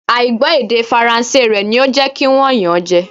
À ì gbọ́ èdè Faransé rẹ ni ó jẹ́ kí wọ́n yàn án jẹ